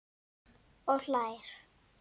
Og hlær.